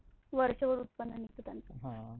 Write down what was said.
वरच्या वर उत्पन्न निघते त्याचं आह